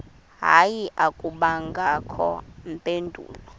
hayi akubangakho mpendulo